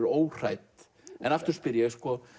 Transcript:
óhrædd en aftur spyr ég